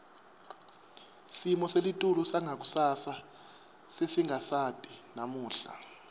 simo selitulu sangakusasa sesingasati namuhla